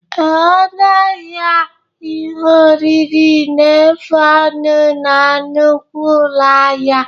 Ee, ọnụ ahịa ihe oriri na-efu ọnụ na nnukwu ụlọ ahịa.